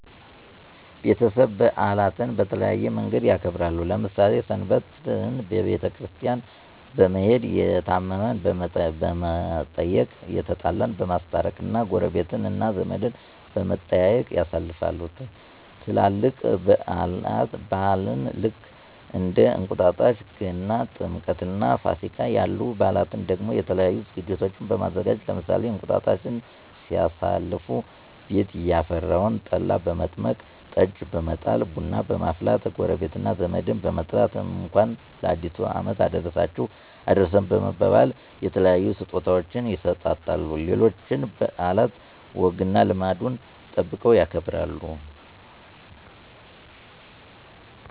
ቤተሰብ በአላትን በተለያየ መንገድ ያከብራሉ። ለምሳሌ ሰንበትን ቤተክርስቲያን በመሄድ፣ የታመመን በመየቅ፣ የተጣላን በማስታረቅ እና ጎረቤት እና ዘመድ በመጠያየቅ ያሳልፋሉ። ትላልቅ በአላን ልክ እንደ እንቁጣጣሽ ገና፣ ጥምቀትእና ፋሲጋ ያሉ በአላትን ደሞ የተለያዩ ዝግጅቶችን በማዘጋጀት ለምሳሌ እንቅጣጣሽን ሲያሳልፉ ቤት ያፈራውን ጠላ በመጥመቅ፣ ጠጅ በመጣል፣ ቡና በመፍላት ጎረቤት እና ዘመድን በመጥራት እንኳን ለአዲሱ አመት አደረሳችሁ አደረሰን በመባባል የተለያዩ ስጦታወችን ይሰጣጣሉ። ሌሎችንም በአላት ወግና ልማዱን ጠብቀው ያከብራሉ።